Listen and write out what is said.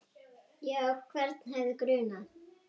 Já, hvern hefði grunað?